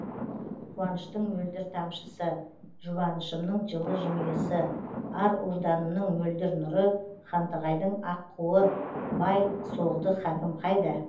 қуаныштың мөлдір тамшысы жұбанышымның жылы жымиысы ар ожданымның мөлдір нұры хантығайдың аққуы бай соғды хакім қайда